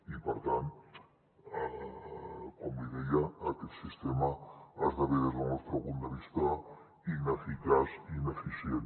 i per tant com li deia aquest sistema esdevé des del nostre punt de vista ineficaç i ineficient